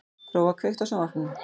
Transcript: Gróa, kveiktu á sjónvarpinu.